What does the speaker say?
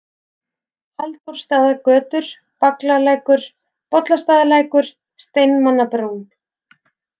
Halldórsstaðagötur, Vaglalækur, Bollastaðalækur, Steinmannabrún